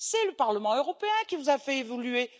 C'est le Parlement européen qui vous a fait évoluer!